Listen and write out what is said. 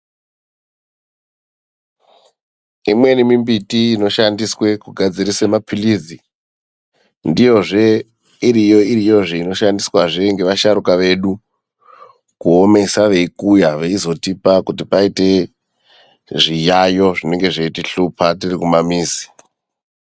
Imweni mimbiti inoshandiswe kugadzirise mapilizi, ndiyozve iriyo-iriyozve inoshandisvazve ngevasharuka vedu kuomesa veikuya veizotipa kuti paite zviyayo zvinenge zveitihlupa tiri kumamizi.